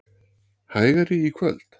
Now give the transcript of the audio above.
Hægari í kvöld